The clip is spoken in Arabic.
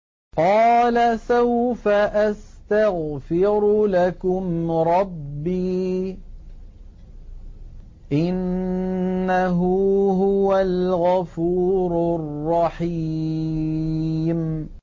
قَالَ سَوْفَ أَسْتَغْفِرُ لَكُمْ رَبِّي ۖ إِنَّهُ هُوَ الْغَفُورُ الرَّحِيمُ